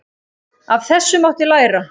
Af þessu mátti læra.